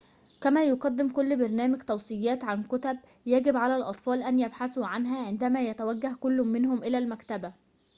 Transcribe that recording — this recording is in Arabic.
كما يقدم كل برنامج توصيات عن كتب يجب على الأطفال أن يبحثوا عنها عندما يتوجه كل منهم إلى المكتبة